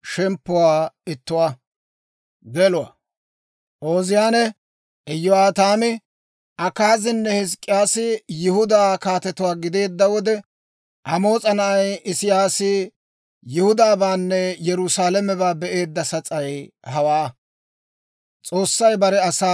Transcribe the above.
Ooziyaane, Iyo'aataami, Akaazinne Hizk'k'iyaasi Yihudaa kaatetuwaa gideedda wode, Amoos'a na'ay Isiyaasi Yihudaabaanne Yerusaalamebaa be'eedda sas'ay hawaa.